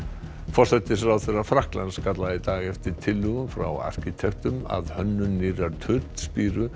forsætisráðherra Frakklands kallaði í dag eftir tillögum frá arkitektum að hönnun nýrrar